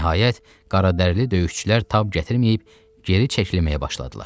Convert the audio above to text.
Nəhayət, qaradərili döyüşçülər tab gətirməyib geri çəkilməyə başladılar.